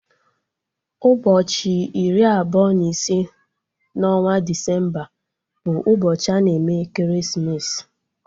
Ụbọchị iri abụọ na ise na onwa Desemba bụ ụbọchị ana eme ekeresimesi